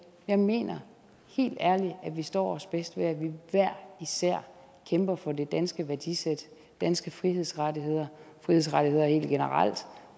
jeg mener helt ærligt at vi står os bedst ved at vi hver især kæmper for det danske værdisæt danske frihedsrettigheder frihedsrettigheder helt generelt